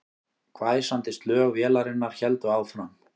Hvæsandi slög vélarinnar héldu áfram